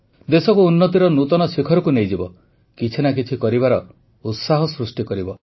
ଦେଶକୁ ଉନ୍ନତିର ନୂତନ ଶିଖରକୁ ନେଇଯିବ କିଛି ନା କିଛି କରିବାର ଉତ୍ସାହ ସୃଷ୍ଟି କରିବ